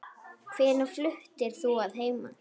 Hvenær fluttir þú að heiman?